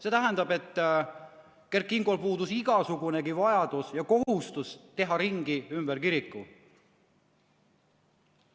See tähendab, et Kert Kingol puudus igasugunegi vajadus ja kohustus teha ringi ümber kiriku.